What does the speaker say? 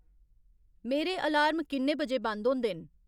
मेरे अलार्म किन्ने बजे बंद होंदे न